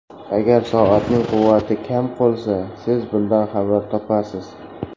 Agar soatning quvvati kam qolsa siz bundan xabar topasiz!